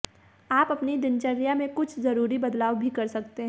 आप अपनी दिनचर्या में कुछ जरूरी बदलाव भी कर सकते हैं